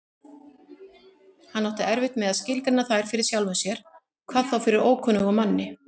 Hann átti erfitt með að skilgreina þær fyrir sjálfum sér, hvað þá fyrir ókunnugum manni.